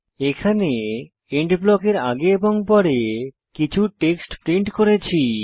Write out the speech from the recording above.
এখানে এন্ড ব্লকের আগে এবং পরে কিছু টেক্সট প্রিন্ট করেছি